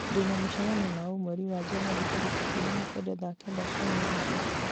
ndĩ na mũcemanio na ũ mweri wa njanũari tarĩki ikũmi na kenda thaa kenda cia mĩaraho